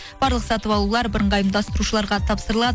барлық сатып алулар бірыңғай ұйымдастырушыларға тапсырылады